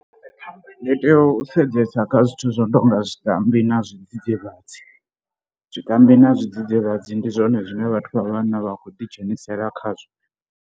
Ndi tea u sedzesa kha zwithu zwo no tou nga zwikambi na zwidzidzivhadzi. Zwikambi na zwidzidzivhadzi ndi zwone zwine vhathu vha vhanna vha khou ḓi dzhenisela khazwo.